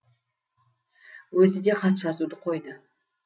өзі де хат жазуды қойды